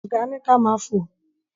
Ọ̀gá ni ka ma fò.